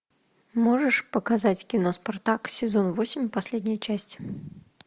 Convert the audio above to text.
можешь показать кино спартак сезон восемь последняя часть